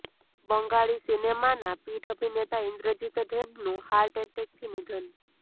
બંગાળી સિનેમાના પીઢ અભિનેતા ઇન્દ્રજિત દેબનું હાર્ટ એટેકથી નિધન